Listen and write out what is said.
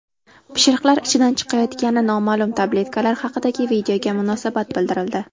Pishiriqlar ichidan chiqayotgani noma’lum tabletkalar haqidagi videoga munosabat bildirildi .